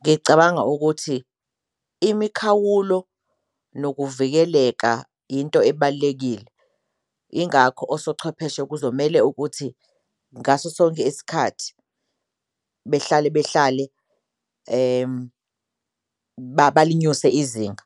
Ngicabanga ukuthi imikhawulo nokuvikeleka into ebalulekile ingakho osochwepheshe kuzomele ukuthi ngaso sonke isikhathi behlale behlale balinyuse izinga